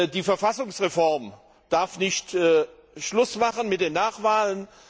Die Verfassungsreform darf nicht Schluss machen mit den Nachwahlen.